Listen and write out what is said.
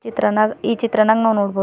ತ್ರನಾಗ್ ಈ ಚಿತ್ರನಾಗ್ ನಾವ್ ನೋಡ್ಬೋದು--